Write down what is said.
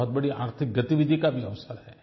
बहुत बड़ी आर्थिक गतिविधि का भी अवसर है